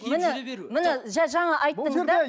міне міне жаңа айттым да